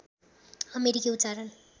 अमेरिकी उच्चारण